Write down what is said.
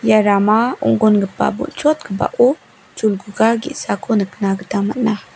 ia rama ong·gongipa rama bon·chokgipao cholguga ge·sako nikna gita man·a.